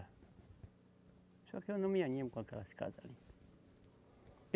Só que eu não me animo com aquelas casa ali.